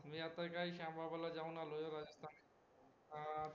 मी आता काय श्यामबाबा ला जाऊन आलोय राजस्थान